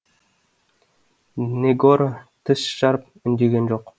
негоро тіс жарып үндеген жоқ